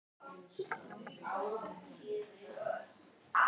Íslenska liðið hélt áfram hreinu út leikinn og því er allt opið fyrir síðari leikinn.